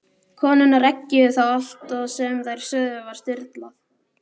Konurnar eggjuðu þá og allt sem þær sögðu var stuðlað.